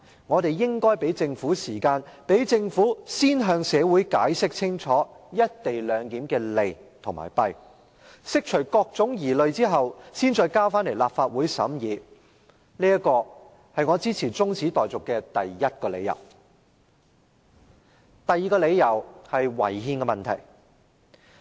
我們應給予政府時間，讓政府先向社會清楚解釋"一地兩檢"的利弊，釋除各種疑慮後，才再把《條例草案》提交立法會審議，這是我支持這項中止待續議案的第一個理由。